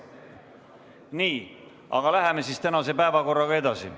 Nii, aga läheme tänase päevakorraga edasi.